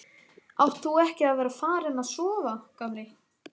Átt þú ekki að vera farinn að sofa, gamli?